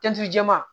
jɛɛma